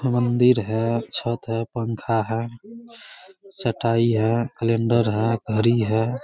मंदिर है छत है पंखा है चटाई है कैलेंडर है घड़ी है।